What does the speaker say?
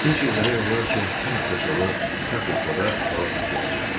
Hinçer demək olar ki, hər həftə sonu Kapekoda balıq tutmağa gedirdi.